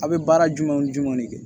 A' bɛ baara jumɛnw jumɛn de kɛ